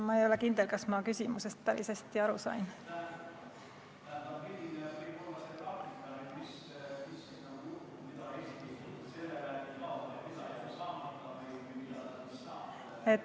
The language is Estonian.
Ma ei ole kindel, kas ma küsimusest päris hästi aru sain.